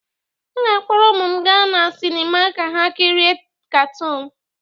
M ga-akpọrọ ụmụ m gaa na sinima ka ha kirie katoon.